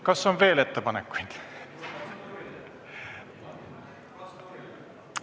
Kas on veel ettepanekuid?